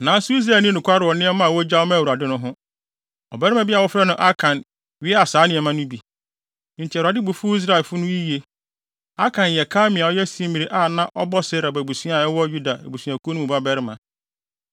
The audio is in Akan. Nanso Israel anni nokware wɔ nneɛma a wogyaw maa Awurade no ho. Ɔbarima bi a wɔfrɛ no Akan wiaa saa nneɛma no bi, enti Awurade bo fuw Israelfo no yiye. Akan yɛ Karmi a ɔyɛ Simri a na ɔbɔ Serah abusua a ɛwɔ Yuda abusuakuw mu no babarima.